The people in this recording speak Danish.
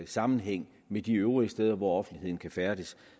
sammenhæng med de øvrige steder hvor offentligheden kan færdes